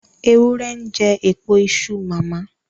Ewúrẹ́ ń jẹ èpo iṣu màmá.